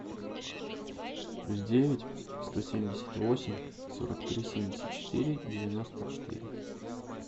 плюс девять сто семьдесят восемь сорок три семьдесят четыре девяносто четыре